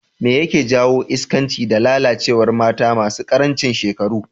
Me yake jawo iskanci da lalacewar mata masu karancin shekaru?